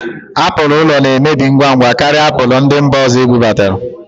Apụl ụlọna-emebi ngwa ngwa karịa apụl ndị mba ọzọ ebubata